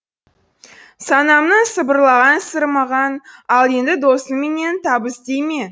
санамның сыбырлаған сыры маған ал енді досыңменен табыс дей ме